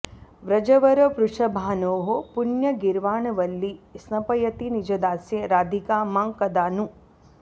व्रजवरवृषभानोः पुण्यगीर्वाणवल्ली स्नपयति निजदास्ये राधिका मां कदा नु